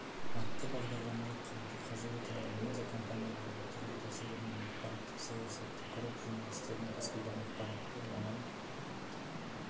атты бағдарламалық қамту қазіргі таңда медиа компанияларға түрлі тәсілдермен ақпараттық саясатты құрып журналистердің кез келген ақпаратты оңай